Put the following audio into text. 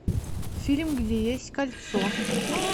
фильм где есть кольцо